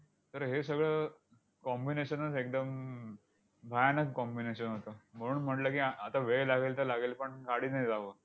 तर हे सगळं combination च एकदम अं भयानक combination होतं. म्हणून म्हटलं की, आआता वेळ लागेल तर लागेल, पण गाडीने जावं.